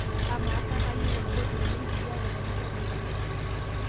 amaa sa kayieu olkoti llenkijape tena tedekenya